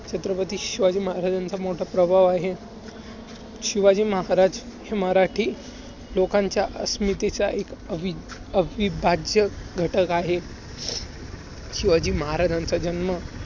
छत्रपती शिवाजी महाराजांचा मोठ प्रभाव आहे. शिवाजी महाराज हे मराठी लोकांच्या अस्मितेचा एक अवि~ अविभाज्य घटक आहे. शिवाजी महाराजांचा जन्म